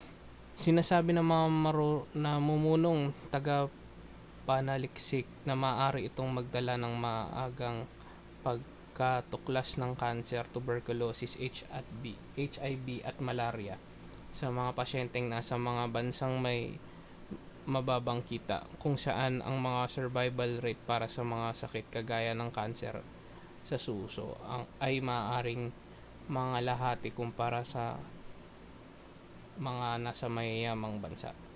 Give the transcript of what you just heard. sinasabi ng mga namumunong tagapanaliksik na maaari itong magdala ng maagang pagkatuklas ng kanser tuberkulosis hiv at malarya sa mga pasyenteng nasa mga bansang may mababang kita kung saan ang mga survival rate para sa mga sakit kagaya ng kanser sa suso ay maaaring mangalahati kumpara sa mga nasa mayayamang bansa